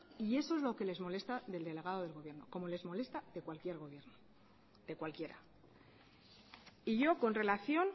y eso es lo que les molesta del delegado del gobierno como les molesta de cualquier gobierno de cualquiera y yo con relación